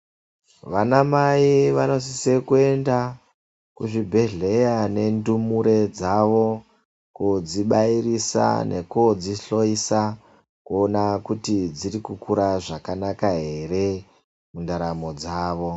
Vanamai vanosisa kuenda kuzvibhedhlera nendumure dzawo kodzibairisa nekodzihloisa kuona kuti dzirikukura zvakanaka ere mundaramo dzawo.